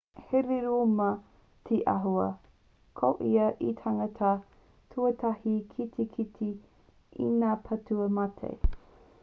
he rūma te āhua ko ia te tangata tuatahi ki te kite i ngā pūtau mate